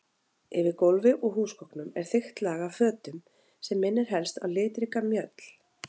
Yfir gólfi og húsgögnum er þykkt lag af fötum sem minnir helst á litríka mjöll.